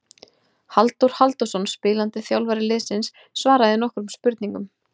Halldór Halldórsson spilandi þjálfari liðsins svaraði nokkrum spurningum.